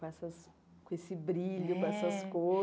Com essas com esse brilho é, com essas cores.